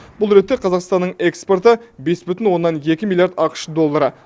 бұл ретте қазақстанның экспорты бес бүтін оннан екі миллиард ақш доллары